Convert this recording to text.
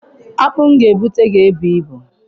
Akpụ m ga-abụta ga-ebu ibu.